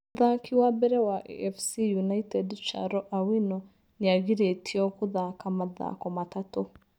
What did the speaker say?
Mũthaki wa mbere wa AFC United Charo Awino nĩ agiritio kũthaka mathako matatũ